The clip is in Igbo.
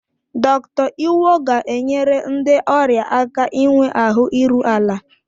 Dr. Iwo ga-enyere ndị ọrịa aka inwe ahụ iru ala.